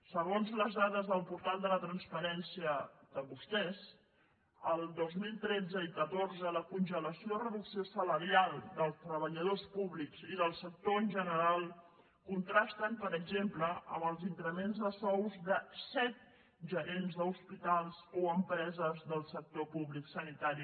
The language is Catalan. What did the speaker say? segons les dades del portal de la transparència de vostès el dos mil tretze i catorze la congelació o reducció salarial dels treballadors públics i del sector en general contrasten per exemple amb els increments de sous de set gerents d’hospitals o empreses del sector públic sanitari